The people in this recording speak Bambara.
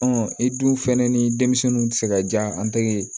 i dun fɛnɛ ni denmisɛnninw tɛ se ka diya an tɛgɛ ye